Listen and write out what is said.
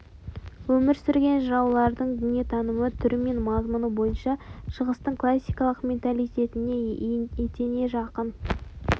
өмір сүрген жыраулардың дүниетанымы түрі мен мазмұны бойынша шығыстың классикалық менталитетіне етене жақын